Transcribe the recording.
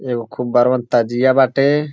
एगो खूब बरवन तजिया बाटे।